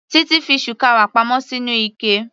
Titi fi shukawa pa mọ́ sínú ike.